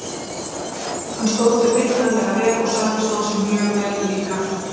Hann stóð sig feiknarlega vel og Sölvi stóð sig mjög vel líka.